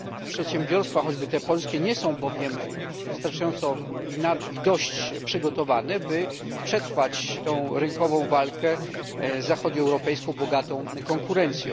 Przedsiębiorstwa, choćby te polskie, nie są bowiem wystarczająco i dość przygotowane, by przetrwać tę rynkową walkę z zachodnioeuropejską bogatą konkurencją.